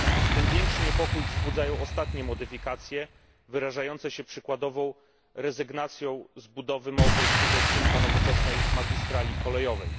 Tym większy niepokój wzbudzają ostatnie modyfikacje wyrażające się przykładowo rezygnacją z budowy małopolskiego odcinka nowoczesnej magistrali kolejowej.